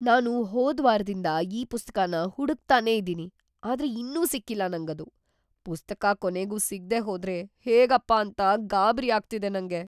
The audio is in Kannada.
ನಾನು ಹೋದ್ವಾರ್‌ದಿಂದ ಈ ಪುಸ್ತಕನ ಹುಡುಕ್ತಾನೇ ಇದೀನಿ ಆದ್ರೆ ಇನ್ನೂ ಸಿಕ್ಕಿಲ್ಲ ನಂಗದು. ಪುಸ್ತಕ ಕೊನೆಗೂ ಸಿಗ್ದೇ ಹೋದ್ರೆ ಹೇಗಪ್ಪಾ ಅಂತ ಗಾಬ್ರಿ ಆಗ್ತಿದೆ ನಂಗೆ.